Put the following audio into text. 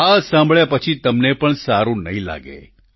આ સાંભળ્યા પછી તમને પણ સારું નહીં લાગે